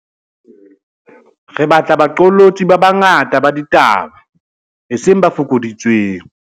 Re batla baqolotsi ba banga ta ba ditaba, eseng ba fokoditsweng.